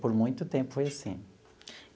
Por muito tempo foi assim.